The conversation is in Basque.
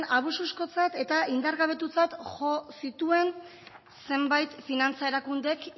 abusukotzat eta indargabetutzat jo zituen zenbait finantza erakundeek